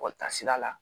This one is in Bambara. sira la